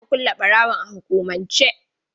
Jiya aka kule ɓarawon a hukumance